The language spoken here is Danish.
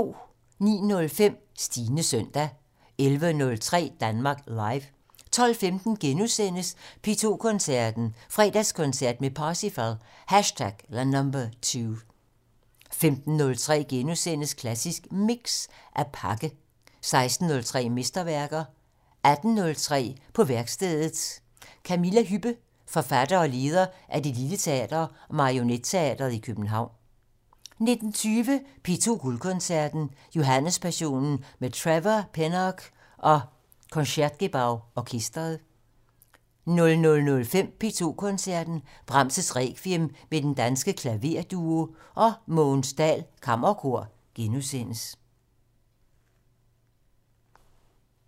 09:05: Stines søndag 11:03: Danmark Live 12:15: P2 Koncerten - Fredagskoncert med Parsifal #2 * 15:03: Klassisk Mix - At pakke * 16:03: Mesterværker 18:03: På værkstedet - Camilla Hübbe, forfatter og leder af Det lille Teater og Marionetteatret i København 19:20: P2 Guldkoncerten - Johannespassionen med Trevor Pinnock og Concertgebouw orkestret 00:05: P2 Koncerten - Brahms' Requiem med Den Danske Klaverduo og Mogens Dahl Kammerkor *